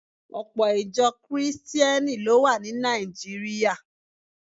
Ọpọ̀ Ìjọ Kìrìsìtíẹ́nì ló wà ní Nàìjíríà